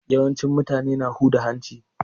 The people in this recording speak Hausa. Yawancin mutane na huda hanci.